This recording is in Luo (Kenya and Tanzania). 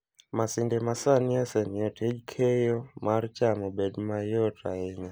Masinde masani osemiyo tij keyo mar cham obedo mayot ahinya.